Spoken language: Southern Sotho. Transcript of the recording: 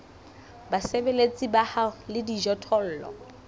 basebeletsi ba hao le dijothollo